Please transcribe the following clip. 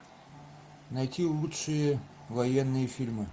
найти лучшие военные фильмы